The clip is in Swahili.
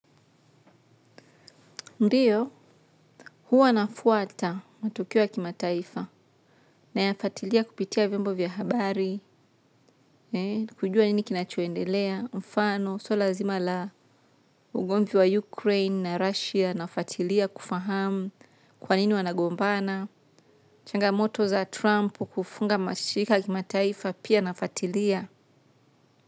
Ndiyo. Huwa nafuata matokeo ya kimataifa. Nayafuatilia kupitia vyombo vya habari, kujua nini kinachoendelea, mfano swala nzima la ugomvi wa Ukraine na Russia nafuatilia kufahamu kwa nini wanagombana, changamoto za Trump kufunga mashirika ya kimataifa pia nafuatilia.